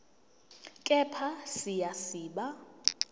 kepha siya siba